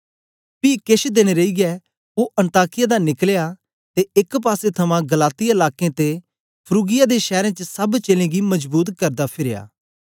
पी केछ देन रेईयै ओ अन्ताकिया दा निकलया ते एक पासे थमां गलातिया लाकें ते फ्रूगिया दे शैरें च सब चेलें गी मजबूत करदा फिरया